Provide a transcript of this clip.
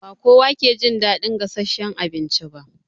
Ba kowa ke jin daɗin gasasshen abinci ba.